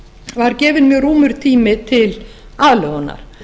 var gefinn mjög rúmur tími til aðlögunar